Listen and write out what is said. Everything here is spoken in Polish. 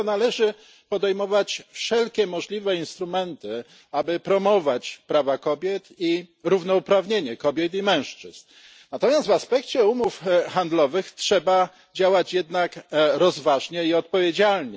Dlatego należy podejmować wszelkie możliwe instrumenty, aby promować prawa kobiet i równouprawnienie kobiet i mężczyzn. Natomiast w aspekcie umów handlowych trzeba działać jednak rozważnie i odpowiedzialnie.